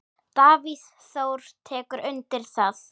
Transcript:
Davíð Þór tekur undir það.